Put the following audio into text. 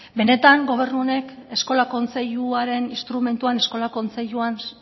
benetan gobernu honek eskola kontseiluaren instrumentuan eskola kontseiluan